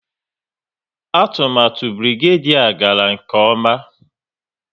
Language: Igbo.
Atụmatụ Birigadiau gara nke ọma